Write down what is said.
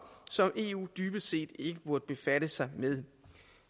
som eu dybest set ikke burde befatte sig med